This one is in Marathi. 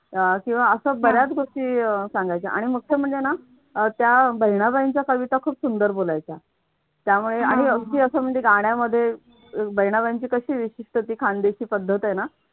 किंवा अशा बऱ्याच गोष्टी सांगायच्या आणि मुख्य म्हणजे ना त्या बहिणाबाईंच्या कविता खूप सुंदर बोलायच्या. त्यामुळे अगदी असं म्हणजे गाण्यामध्ये बहिणाबाईंची कशी विचित्र ती खानदेशी पद्धत आहे ना.